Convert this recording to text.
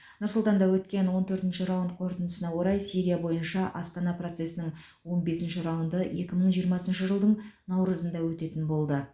нұр сұлтанда өткен он төртінші раунд қорытындысына орай сирия бойынша астана процесінің он бесінші раунды екі мың жиырмасыншы жылдың наурызында өтетін болды